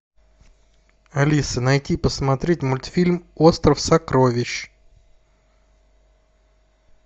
алиса найти посмотреть мультфильм остров сокровищ